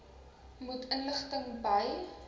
meer inligting by